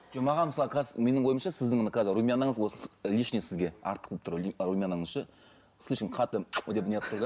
жоқ маған мысалы қазір менің ойымша сіздің мына қазір румянаңыз осы лишний сізге артық болып тұр румянаңыз ше слишком қатты деп неғып тұр да